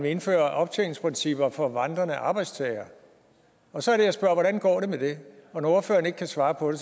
indføre optjeningsprincipper for vandrende arbejdstagere og så er det jeg spørger hvordan det går med det og når ordføreren ikke kan svare på